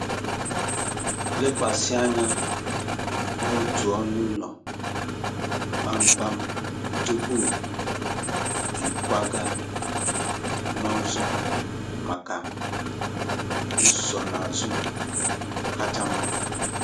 Lekwasị anya n'otu ọnụ ụlọ kpamkpam tupu ịkwaga n'ọzọ maka nsonaazụ kacha mma.